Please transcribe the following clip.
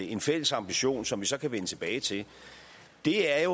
en fælles ambition som vi så kan vende tilbage til er